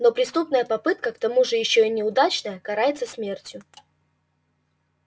но преступная попытка к тому же ещё и неудачная карается смертью